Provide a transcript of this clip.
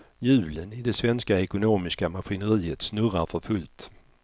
Hjulen i det svenska ekonomiska maskineriet snurrar för fullt.